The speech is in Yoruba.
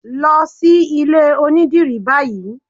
Lọ sí ilé onídìrí báyìí!